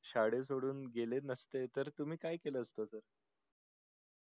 शाळा सोडून गेले नसते त तुम्ही काय केलं असत